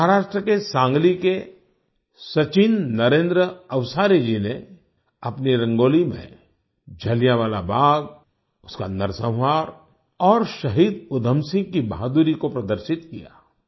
महाराष्ट्र के सांगली के सचिन नरेंद्र अवसारी जी ने अपनी रंगोली में जलियांवाला बाग उसका नरसंहार और शहीद उधम सिंह की बहादुरी को प्रदर्शित किया